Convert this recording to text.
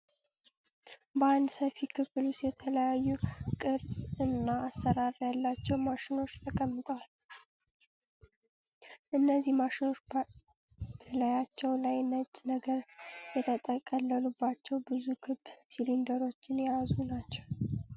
በአንድ ሰፊ ክፍል ዉስጥ የተለያዩ ቅርሽ እና አሰራር ያላቸው ማሽኖች ተቀምጠዋል። እነዚህ ማሽኖች በላያቸው ላይ ነጭ ነገር የተጠቀለሉባቸው ብዙ ክብ ሲሊንደሮችን የያዙ ናቸው።